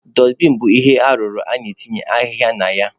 Dọstbin bụ ihe arụrụ a na-etinye ahịhịa na ya.